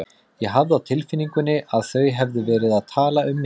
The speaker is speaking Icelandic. Ég hafði á tilfinningunni að þau hefðu verið að tala um mig.